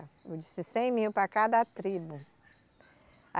Eu disse cem mil para cada tribo.